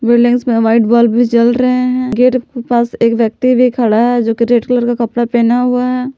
Buildings में white bulb भी जल रहे हैं गेट के पास एक व्यक्ति भी खड़ा है जोकि रेड कलर का कपड़ा पहना हुआ है।